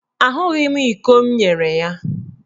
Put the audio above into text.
Ahụghị m iko m nyere ya.